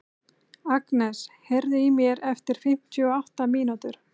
Agnes, heyrðu í mér eftir fimmtíu og átta mínútur.